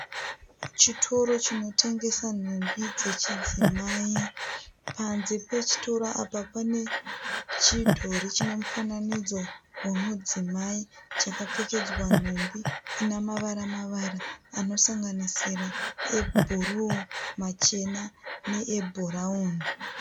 Chitoro chinotengesa nhumbi dzechidzimai. Panze pechitoro apa panechidhori chinemufananidzo womudzimai chakapfekedzwa nhumbi inamavara-mavara anosanganisira ebhuruu, machena neebhurauni.